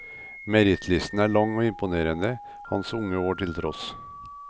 Merittlisten er lang og imponerende, hans unge år til tross.